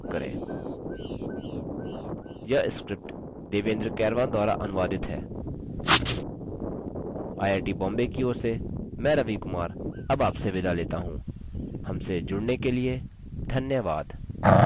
यह script देवेन्द्र कैरवान द्वारा अनुवादित है आई आई टी बॉम्बे की ओर से मैं रवि कुमार अब आपसे विदा लेता हूँ हमसे जुड़ने के लिए धन्यवाद